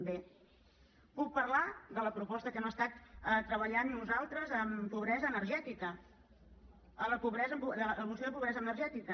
bé puc parlar de la proposta que hem estat treballant nosaltres en pobresa energètica a la moció de pobresa energètica